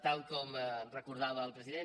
tal com recordava el president